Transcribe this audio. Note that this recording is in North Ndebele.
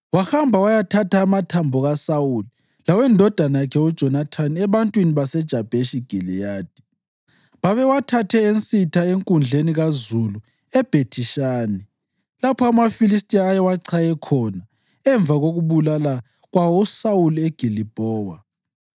wahamba wayathatha amathambo kaSawuli lawendodana yakhe uJonathani ebantwini baseJabheshi Giliyadi. (Babewathathe ensitha enkundleni kazulu eBhethi-Shani, lapho amaFilistiya ayewachaye khona emva kokubulala kwawo uSawuli eGilibhowa.)